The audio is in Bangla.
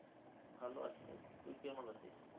ভালো আছিরে. তুই কেমন আছিস?